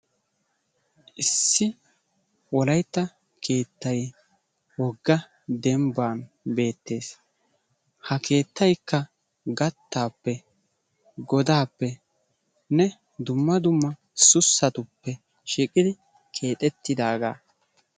Issi wolaytta keetay woga demban beetees ha keetaykka gataappe godaappene dumma dumma susatuppe shiiqidi keexettidaagaa.